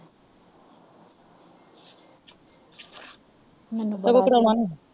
ਕਦੋਂ ਕਰਨਾ ਈ?